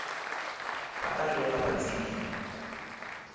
ba tla re yela batsebing